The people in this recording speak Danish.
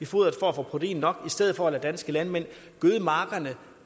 foderet for at få protein nok i stedet for at danske landmænd gøde markerne